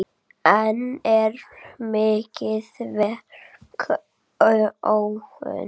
Enn er mikið verk óunnið.